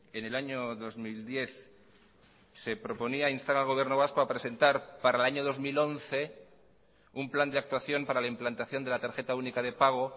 en el año dos mil diez se proponía instar al gobierno vasco a presentar para el año dos mil once un plan de actuación para la implantación de la tarjeta única de pago